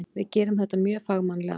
Við gerðum þetta mjög fagmannlega.